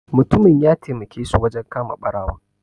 Mutumin ya taimake su wajen kama barawon.